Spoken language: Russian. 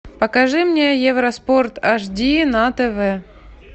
покажи мне евроспорт аш ди на тв